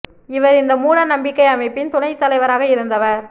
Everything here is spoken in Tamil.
இவர் இந்த மூட நம்பிக்கை அமைப்பின் துணைத் தலைவராக இருந்தவர்